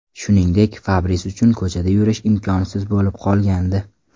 Shuningdek, Fabris uchun ko‘chada yurish imkonsiz bo‘lib qolgandi.